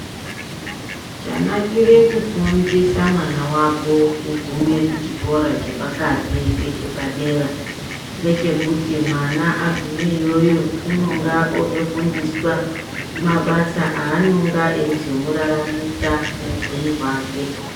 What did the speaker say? Chanakire kufindisa mwana wako kuguma pachikora chepakati nechepadera ngechekuti mwana agume iyoyo inenge otofundiswa mabasa anonga ayizomuraramisa muupenyu hwake.